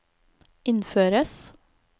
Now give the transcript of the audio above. innføres